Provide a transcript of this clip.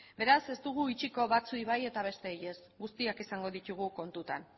beraz ez dugu utziko batzuei bai eta beste besteei ez guztiak izango ditugu kontutan